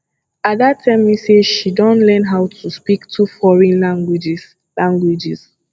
ada tell me say she don learn how to speak two foreign languages languages